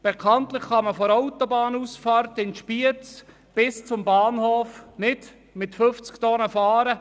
Bekanntlich kann man von der Autobahnausfahrt in Spiez bis zum Bahnhof nicht mit 50 Tonnen Last fahren.